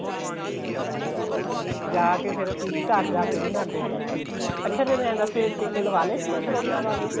ਜਾਕੇ ਫ਼ੇਰ ਅਸੀਂ ਘਰ ਜਾਕੇ ਵੀ ਨਾਂਦੇ ਹੁੰਦੇ ਸੀ ਅੱਛਾ ਮੈਨੂੰ ਏ ਦੱਸ ਟੀਕੇ ਲਵਾਹ ਲਏ ਸੀ ਕਰੋਨਾ ਵਾਲੇ ਤੂੰ